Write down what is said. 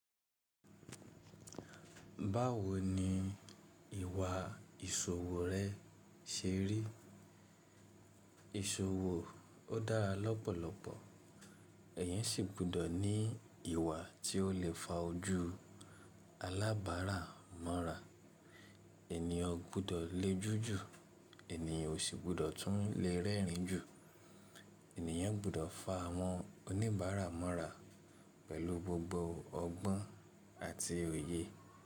Báwo ni ìwà ìṣòwò rẹ́ ṣe rí? Isowó o dára lọ́pọ̀lọpọ̀, eèyàn sì gbọ́dọ̀ ní ìwà tí ó lè fa ojú alábàárà mọ́ra. Ènìyàn gbọ́dọ̀ le ojú jù, ènìyàn ò sì gbọ́dọ̀ tún le rẹ́rìn jù. Ènìyàn gbọ́dọ̀ fa àwọn oníbàárà mọ́ra pẹ̀lú gbogbo ọgbọ́n àti òye.